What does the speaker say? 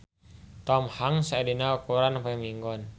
Tom Hanks aya dina koran poe Minggon